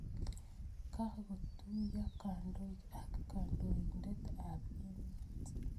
Kopkotuyo kandoik ak kandoindet ap emeet